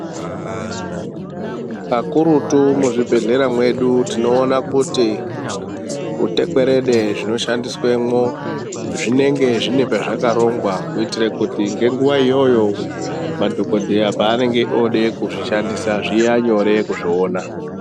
Kakurutu muzvibhedhlera mwedu tinoona kuti utekwerede zvinoshandiswemwo zvinenge zvine pezvakarongwa kuitire kuti ngenguva iyoyo madhokodheya paanenge ode kuzvishandisa zviya nyore kuzviona